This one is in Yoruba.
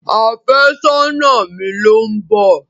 Àfẹ́sọ́nà mi ló ń bọ̀.